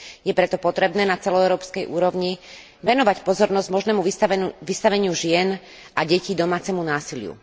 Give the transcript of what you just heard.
Je preto potrebné na celoeurópskej úrovni venovať pozornosť možnému vystaveniu žien a detí domácemu násiliu.